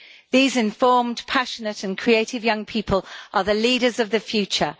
These informed, passionate and creative young people are the leaders of the future.